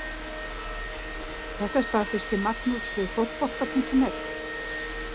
Þetta staðfesti Magnús við Fótbolta.net.